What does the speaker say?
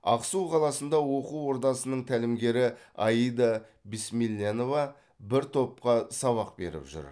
ақсу қаласындағы оқу ордасының тәлімгері аида бисмилленова бір топқа сабақ беріп жүр